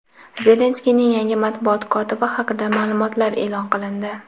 Zelenskiyning yangi matbuot kotibi haqida ma’lumotlar e’lon qilindi.